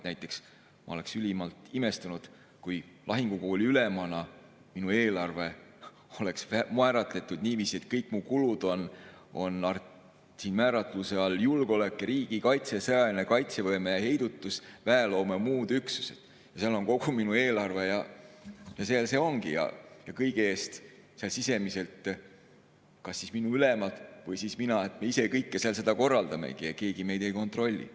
Näiteks ma oleks ülimalt imestunud, kui lahingukooli ülemana minu eelarve oleks määratletud niiviisi, et kõik mu kulud oleks määratluste all "Julgeolek ja riigikaitse", "Sõjaline kaitsevõime ja heidutus", "Väeloome ja muud üksused", ja see oleks kogu minu eelarve ja kas minu ülemad või siis mina ise kõike korraldaksimegi ja keegi meid ei kontrolliks.